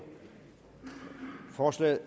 forslag